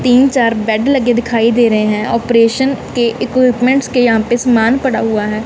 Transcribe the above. तीन चार बेड लगे दिखाई दे रहे हैं। ऑपरेशन के इक्विपमेट्स के यहां पे सामान पड़ा हुआ है।